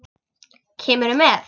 Kemurðu með?